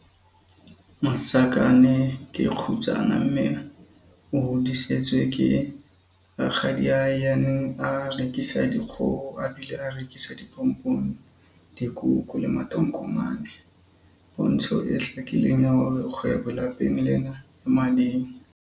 Masakane ke kgutsana mme o hodisitswe ke rakgadiae ya neng a rekisa dikgoho a bile a rekisa dipompong, dikuku le matokomane- pontsho e hlakileng ya hore kgwebo lapeng lena e mading.